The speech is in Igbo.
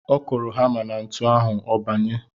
Ọ kụrụ hamá na ntu ahụ, ọ banye.